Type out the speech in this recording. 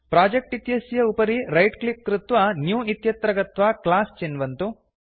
project इत्यस्य उपरि right click कृत्वा न्यू इत्यत्र गत्वा क्लास चिन्वन्तु